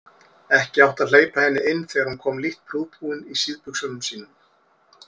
Ekki átti að hleypa henni inn þegar hún kom lítt prúðbúin í síðbuxunum sínum.